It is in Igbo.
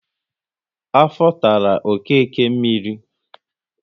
Afọ tara Okeke mmiri